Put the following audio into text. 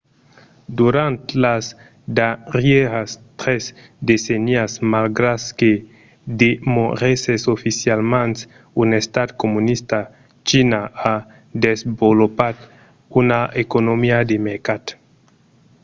durant las darrièras tres decennias malgrat que demorèsses oficialament un estat comunista china a desvolopat una economia de mercat